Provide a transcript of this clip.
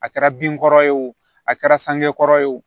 A kɛra bin kɔrɔ ye wo a kɛra sangɔ kɔrɔ ye o